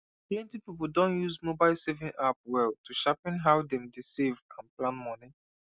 plenty people don use mobile saving app well to sharpen how dem dey save and plan money